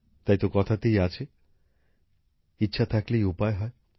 তাইতো কথাতেই আছে ইচ্ছা থাকলেই উপায় হয়